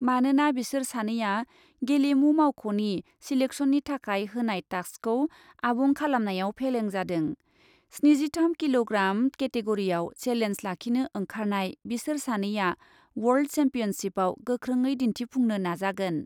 मानोना बिसोर सानैआ गेलेमु मावख'नि सिलेक्सननि थाखाय होनाय टास्कखौ आबुं खालामनायाव फेलें जादों। स्निजिथाम किल'ग्राम केटेगरिआव सेलेन्ज लाखिनो ओंखारनाय बिसोर सानैआ वर्ल्ड सेम्पियनशिपआव गोख्रोङै दिन्थिफुंनो नाजागोन।